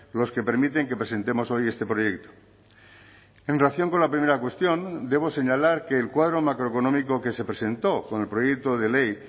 los que permiten que presentemos hoy este proyecto en relación con la primera cuestión debo señalar que el cuadro macroeconómico que se presentó con el proyecto de ley